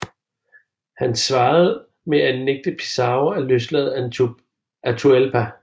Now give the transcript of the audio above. Han svarede med at nægtede Pizarro at løslade Atahualpa